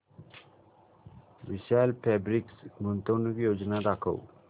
विशाल fabrics गुंतवणूक योजना दाखव